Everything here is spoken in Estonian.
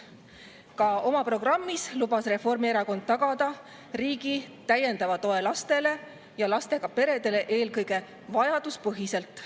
Ka oma programmis lubas Reformierakond tagada riigi täiendava toe lastele ja lastega peredele eelkõige vajaduspõhiselt.